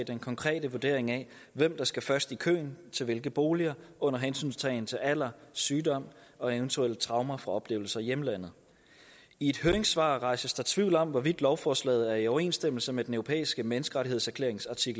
den konkrete vurdering af hvem der skal først i køen til hvilke boliger under hensyntagen til alder sygdom og eventuelle traumer fra oplevelser i hjemlandet i et høringssvar rejses der tvivl om hvorvidt lovforslaget er i overensstemmelse med den europæiske menneskerettighedskonventions